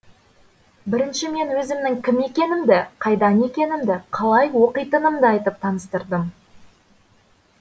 бірінші мен өзімнің кім екенімді қайдан екенімді қалай оқитынымды айтып таныстырдым